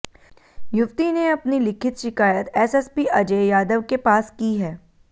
युवती ने अपनी लिखित शिकायत एसएसपी अजय यादव के पास की है